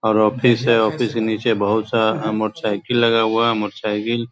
और ऑफिस है ऑफिस नीचे बहुत सारा मोटर साइकिल लगा हुआ है मोटर साइकिल --